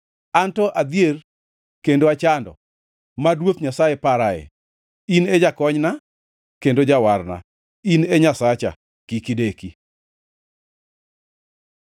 Anto adhier kendo achando, mad Ruoth Nyasaye parae. In e jakonyna kendo jawarna; in e Nyasacha, kik ideki.